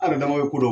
An yɛrɛ dama bɛ ko dɔn